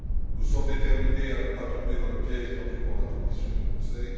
Nous sommes déterminés à ne pas tomber dans le piège tendu par la Commission et le Conseil.